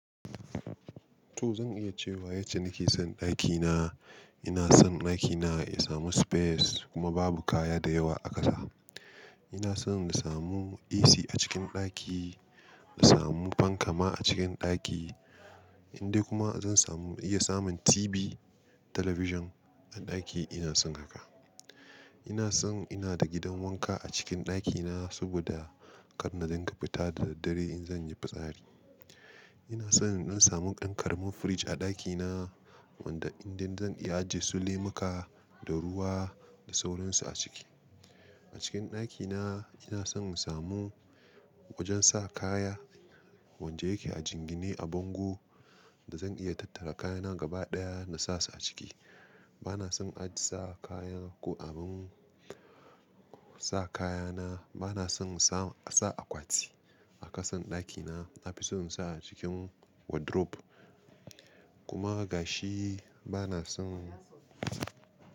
To zan iya cewa yace nake son ɗakina. Ina son ɗakina ya samu space kuma babu kaya da yawa a ƙasa. Ina son na samu AC a cikin ɗaki, na samu fankama a cikin ɗaki, in dai kuma zan samu iya samun TV, television a ɗaki ina son haka. Ina son ina da gidan wanka a cikin ɗakina saboda kar na dinga fita da daddare in zan yi fitsari. Ina son in dan samu ɗan ƙaramin fridge a ɗakina wanda indai zan iya ajiye su lemiƙa da ruwa da sauransu a ciki. A cikin ɗakina ina son in samu wajen sa kaya wanda yake a jingine a bango da zan iya tattara kayana gaba ɗaya na sa su a ciki. Bana son aji sa kayan ko abin sa kayana. Bana son in sa, a sa akwati a ƙasan ɗakina. Nafison in sa a cikin wardrobe. Kuma gashi bana son.